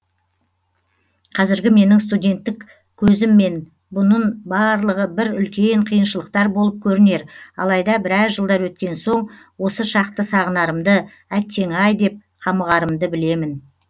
қазіргі менің студенттік көзіммен бұнын барлығы бір үлкен қиыңшылықтар болып көрінер алайда біраз жылдар өткен соң осы шақты сағынарымды әттең ай деп қамығарымды білемін